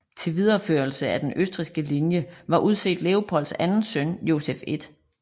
Til videreførelse af af den østrigske linje var udset Leopolds anden søn Josef 1